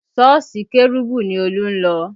Sọ́ọ̀sì kérúbù ni Olú ń lọ